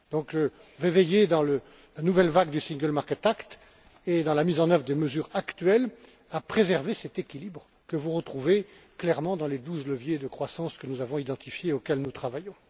Je vais donc veiller, dans la nouvelle vague du Single Market Act et dans la mise en œuvre des mesures actuelles, à préserver cet équilibre que vous retrouvez clairement dans les douze leviers de croissance que nous avons identifiés et auxquels nous travaillons.